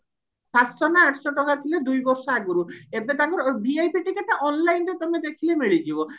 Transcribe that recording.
ସାତଶହ ନା ଆଠଶହ ଟଙ୍କା ଥିଲା ଦୁଇ ବର୍ଷ ଆଗରୁ ଏବେ ତାଙ୍କର VIP ଟିକେଟଟା online ତମେ ଦେଖିଲେ ମିଳିଯିବ